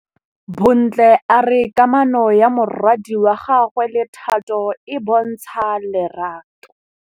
Bontle a re kamanô ya morwadi wa gagwe le Thato e bontsha lerato.